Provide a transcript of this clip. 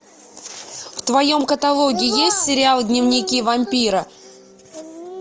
в твоем каталоге есть сериал дневники вампира